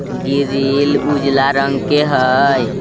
Grill उजला रंग के हई।